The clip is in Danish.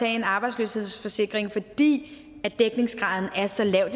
en arbejdsløshedsforsikring fordi dækningsgraden er så lav